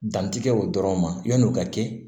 Dantigɛ o dɔrɔn ma yan'o ka kɛ